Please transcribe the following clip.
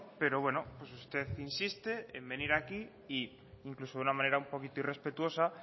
pero bueno usted insiste en venir aquí e incluso de una manera un poquito irrespetuosa